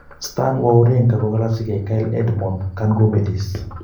Stan wawrinka kokalasyikei Kyle Edmond kankobelis.